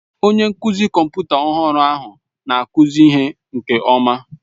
Onye nkụzi kọmputa ọhụrụ ahụ na-akụzi ihe nke ọma.